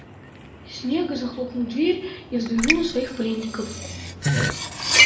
снегг захлопнул дверь и взглянул на своих пленников